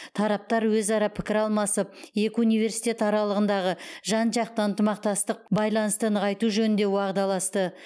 тараптар өзара пікір алмасып екі университет аралығындағы жан жақты ынтымақтастық байланысты нығайту жөнінде уағдаласты